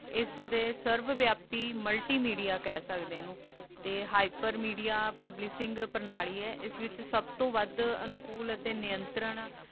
ਏਸ ਦੇ ਸਰਵ ਵਿਆਪਦੀ multimedia ਕਹ ਸਕਦੇ ਆਂ ਓਨੁ ਤੇ hyper media publicing ਪ੍ਰਣਾਲੀ ਆਯ ਏਸ ਵਿਚ ਸਬ ਤੋਂ ਵਾਦ ਅਨੁਕੂਲ ਅਤੀ ਨੇੰਤਰਾਂ